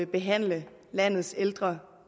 behandle landets ældre